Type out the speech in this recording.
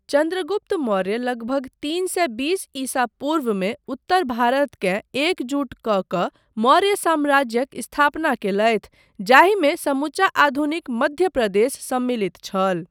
चन्द्रगुप्त मौर्य लगभग तीन सए बीस ईसा पूर्वमे उत्तर भारतकेँ एकजुट कऽ कऽ मौर्य साम्राज्यक स्थापना कयलथि जाहिमे समूचा आधुनिक मध्य प्रदेश सम्मिलित छल।